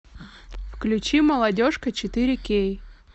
включи молодежка четыре кей